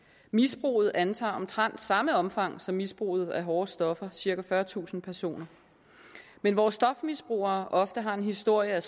misbruget antager omtrent samme omfang som misbruget af hårde stoffer nemlig cirka fyrretusind personer men hvor stofmisbrugere ofte har en historie